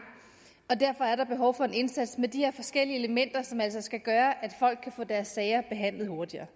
og derfor er der behov for en indsats med de her forskellige elementer som altså skal gøre at folk kan få deres sager behandlet hurtigere